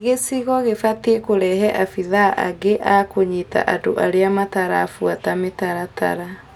Gĩcigo gĩbatiĩ kũrehe abithaa angĩ a kũnyita andũ arĩa matarabuata mĩtaratara.